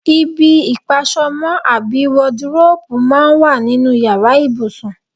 Ibi ìpas̩o̩mó̩ àbí wadiróòbù máa ń wà nínú yàrá ìbùsùn.